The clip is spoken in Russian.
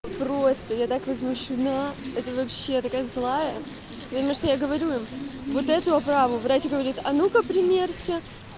просто я так из мужчина это вообще такая злая потому что я говорю вот этого право врач говорит а ну-ка примерьте